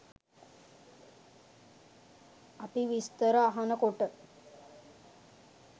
අපි විස්තර අහන කොට